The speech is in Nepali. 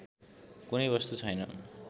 कुनै वस्तु छैन